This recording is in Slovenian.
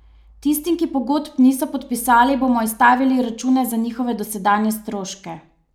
Tistim, ki pogodb niso podpisali, bomo izstavili račune za njihove dosedanje stroške.